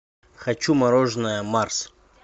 хочу мороженое марс